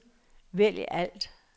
vælg alt